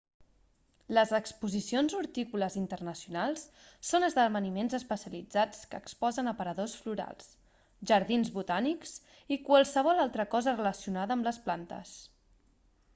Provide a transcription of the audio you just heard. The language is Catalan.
les exposicions hortícoles internacionals són esdeveniments especialitzats que exposen aparadors florals jardins botànics i qualsevol altra cosa relacionada amb les plantes